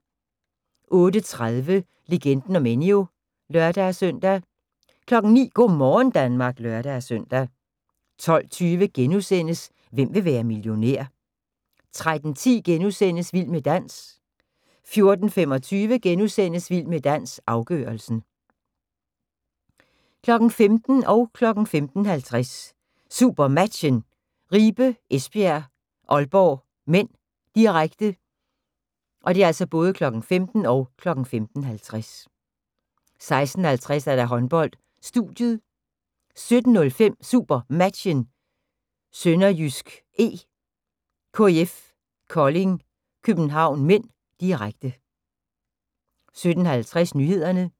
08:30: Legenden om Enyo (lør-søn) 09:00: Go' morgen Danmark (lør-søn) 12:20: Hvem vil være millionær? * 13:10: Vild med dans * 14:25: Vild med dans – afgørelsen * 15:00: SuperMatchen: Ribe-Esbjerg - Aalborg (m), direkte 15:50: SuperMatchen: Ribe-Esbjerg - Aalborg (m), direkte 16:50: Håndbold: Studiet 17:05: SuperMatchen: SønderjyskE - KIF Kolding København (m), direkte 17:50: Nyhederne